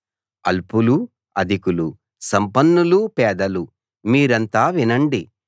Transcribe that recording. అల్పులూ అధికులూ సంపన్నులూ పేదలూ మీరంతా వినండి